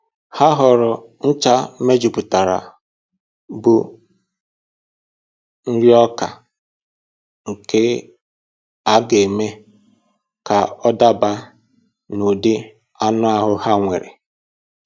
Ha họọrọ ncha mejupụtara bụ nriọka nke a ga-eme ka ọ daba n'ụdị anụ ahụ ha nwere